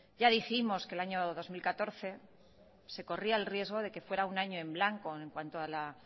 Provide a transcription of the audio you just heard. ya dijimos que en el año dos mil catorce se corría el riesgo de que fuera un año en blanco en cuanto a la